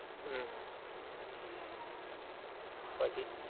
હમ પછી